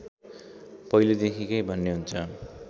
पहिलेदेखिकै भन्ने हुन्छ